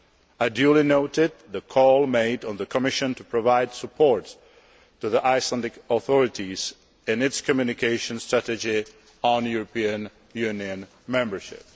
I have duly noted the call made on the Commission to provide support to the Icelandic authorities in its communication strategy on European Union membership.